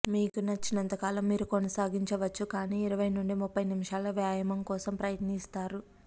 మీకు నచ్చినంత కాలం మీరు కొనసాగించవచ్చు కానీ ఇరవై నుండి ముప్పై నిమిషాల వ్యాయామం కోసం ప్రయత్నిస్తారు